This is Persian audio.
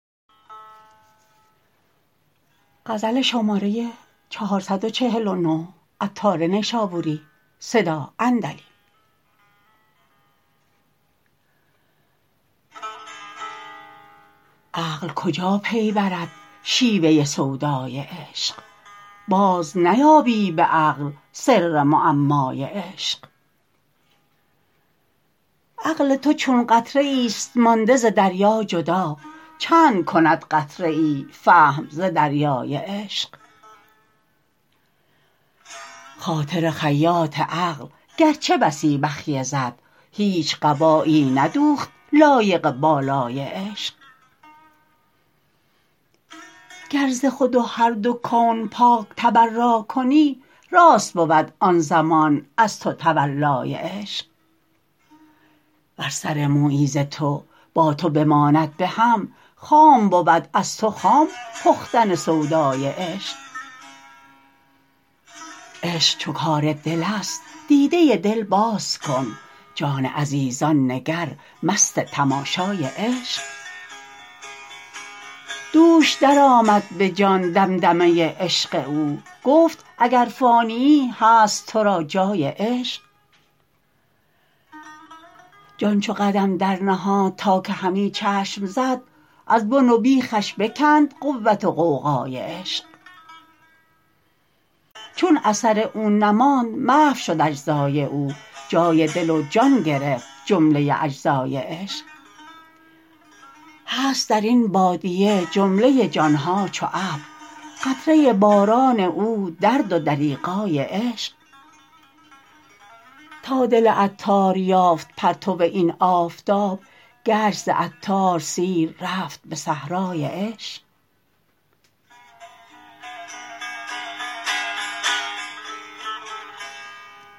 عقل کجا پی برد شیوه سودای عشق باز نیابی به عقل سر معمای عشق عقل تو چون قطره ایست مانده ز دریا جدا چند کند قطره ای فهم ز دریای عشق خاطر خیاط عقل گرچه بسی بخیه زد هیچ قبایی ندوخت لایق بالای عشق گر ز خود و هر دو کون پاک تبرا کنی راست بود آن زمان از تو تولای عشق ور سر مویی ز تو با تو بماند به هم خام بود از تو خام پختن سودای عشق عشق چو کار دل است دیده دل باز کن جان عزیزان نگر مست تماشای عشق دوش درآمد به جان دمدمه عشق او گفت اگر فانیی هست تو را جای عشق جان چو قدم در نهاد تا که همی چشم زد از بن و بیخش بکند قوت و غوغای عشق چون اثر او نماند محو شد اجزای او جای دل و جان گرفت جمله اجزای عشق هست درین بادیه جمله جان ها چو ابر قطره باران او درد و دریغای عشق تا دل عطار یافت پرتو این آفتاب گشت ز عطار سیر رفت به صحرای عشق